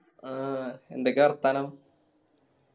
അഹ് എന്തൊക്കെയാ വർത്താനം